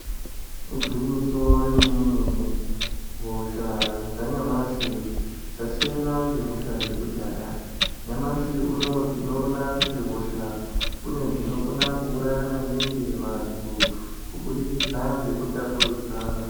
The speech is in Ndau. Igwinyiso rememene mene .Hosha dzanyamashi dzasiyana ngehosha dzekudhaya. Nyamashi tinoona kuti hosha kune dzinokona kuuraya maningi vantu kuburikidza ngekutapurudzana.